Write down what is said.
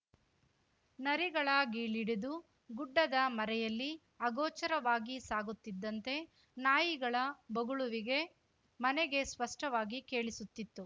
ನರಿಗಳ ಘೀಳಿಡುದು ಗುಡ್ಡದ ಮರೆಯಲ್ಲಿ ಅಗೋಚರವಾಗಿ ಸಾಗುತ್ತಿದ್ದಂತೆ ನಾಯಿಗಳ ಬೊಗಳುವಿಗೆ ಮನೆಗೆ ಸ್ಪಷ್ಟವಾಗಿ ಕೇಳಿಸುತಿತ್ತು